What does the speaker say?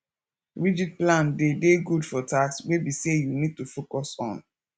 rigid plan de dey good for tasks wey be sey you need to focus on